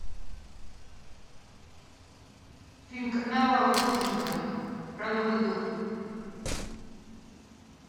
фильм карнавал с гурченко про новый год